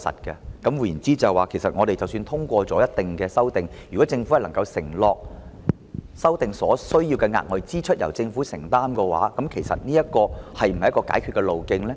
換言之，即使我們通過一定修訂，如果政府能夠承諾，修訂所需要的額外支出由政府承擔，其實這是否一個解決的路徑呢？